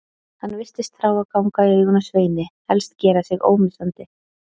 Hann virtist þrá að ganga í augun á Sveini, helst gera sig ómissandi.